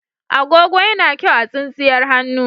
Agogo yana kyau a tsintsiyar hannu.